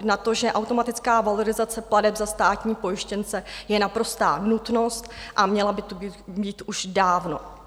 na to, že automatická valorizace plateb za státní pojištěnce je naprostá nutnost a měla by tu být už dávno.